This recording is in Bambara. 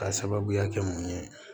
K'a sababuya kɛ mun ye